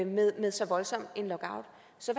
med med så voldsom en lockout så